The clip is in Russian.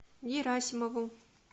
герасимову